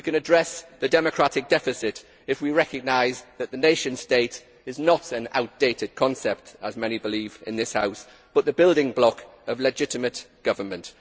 We can address the democratic deficit if we recognise that the nation state is not an outdated concept, as many believe in this House, but the building block of legitimate government.